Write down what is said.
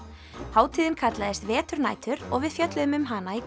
hátíðin kallast veturnætur og við fjölluðum um hana í